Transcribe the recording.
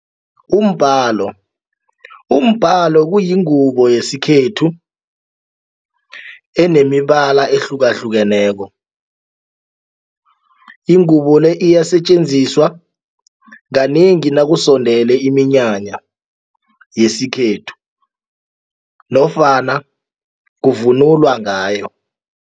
Umbalo, umbalo kuyingubo yesikhethu enemibala ehlukahlukeneko ingubo le iyasetjenziswa kanengi nakusondele iminyanya yesikhethu nofana kuvunulwa ngayo.